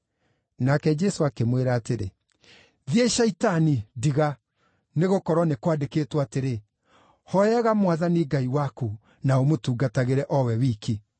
Nake Jesũ akĩmwĩra atĩrĩ, “Thiĩ Shaitani ndiga! Nĩgũkorwo nĩ kwandĩkĩtwo atĩrĩ: ‘Hooyaga Mwathani Ngai waku, na ũmũtungatagĩre o we wiki.’ ”